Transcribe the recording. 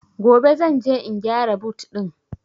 Gobe zan je in gyara but ɗin